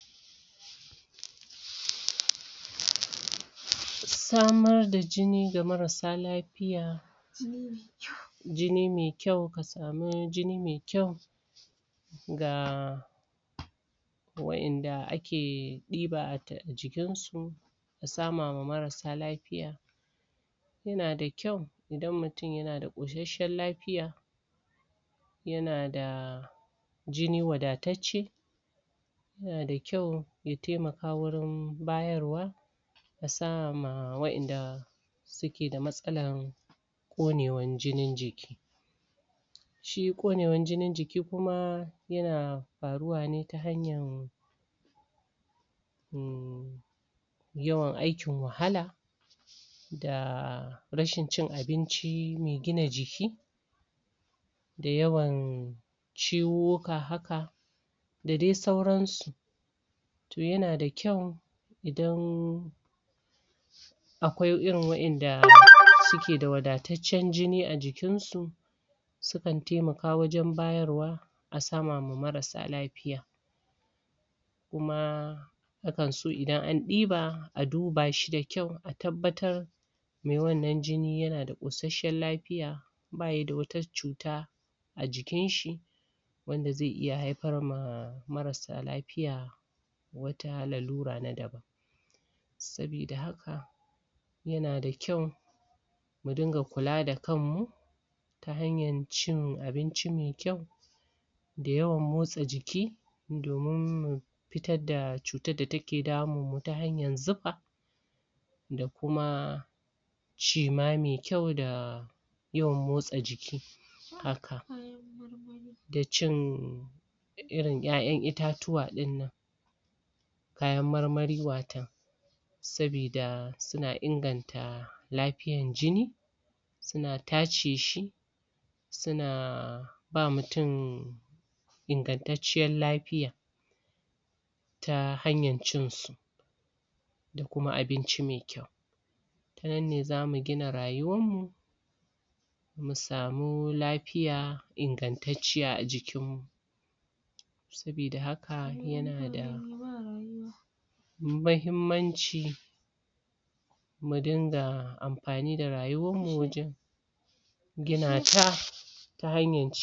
Samar da jini ga marassa lafiya jini mai kwau Ka samu jini mai kwau Ga Wadanda ake dauka jikinsu A samar ma marassa lafiya Yana da kwau Idan mutum yana da ƙoshashiyar lafiya Yana da Jini wadatacce Yana da kwau Ya taimaka wurin Bayarwa musamman ga wadanda Suke da matsalar ƙonewar jinin jiki shi ƙonewar jinin jiki kuma yana faruwa ne ta hanyar yawan aikin wahala Da Da rashin cin abinci mai gina jiki Da yawan Ciwo haka da dai sauran su To yana da kwau Idan Akwai irin wadanda suke da wadataccen jini a jikin su Sukan taimaka wajen bayar wa A sama ma marassa lafiya Kuma Akan so idan an diba A duba shi da kwau A tabbatar Wannan jini yana da ishashen lafiya bayada wata cuta A jikin shi Wanda zai'iya haifar ma Mararsa lafiya Wata lalura na daban Sabida haka Yana da kwau Mu dinga kula da kanmu Ta hanyar cin abinci mai kwau Da yawan motsa jiki Domin mu Fitar da cutar da take damunmu ta hanyar zufa Da kuma shima mai kwau da Yawan motsa jiki Haka Da cin Irin ya'yan itatuwa dinnan Kayan marmari watakan Sabida suna inganta Lafiyar jini Suna tace shi Suna Ba mutum Ingantatcciyar lafiya Ta hanyar cinsu Da kuma abinci mai kwau Tanan ne zamu gina rayuwar mu Mu samu lafiya Ingantacciya a jikin mu Sabida haka yana da Mahimmanci Mu ringa amfani da rayuwar mu wajen Gina ta Ta hanyar ci.